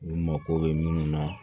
U mako bɛ minnu na